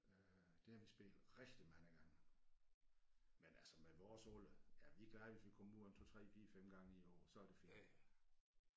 Øh der har vi spillet rigtig mange gange men altså med vores alder er vi glade hvis vi kommer ud en 2 3 4 5 gange i året så er det fint